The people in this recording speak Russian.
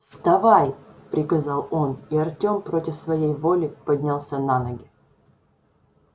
вставай приказал он и артём против своей воли поднялся на ноги